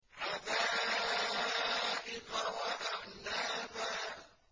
حَدَائِقَ وَأَعْنَابًا